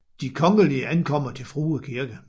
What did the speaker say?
De Kongelige ankommer til Frue Kirke